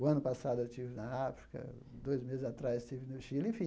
O ano passado eu estive na África, dois meses atrás estive no Chile. Enfim